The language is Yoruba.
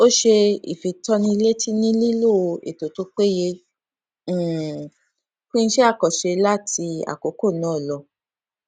ó ṣe ìfitónilétí nílílò ètò tó péye um fún iṣẹ àkànṣe láti àkókò náà lọ